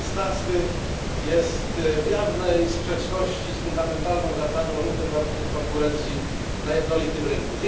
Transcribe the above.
16 jest w jawnej sprzeczności z fundamentalną zasadą równych warunków konkurencji na jednolitym rynku.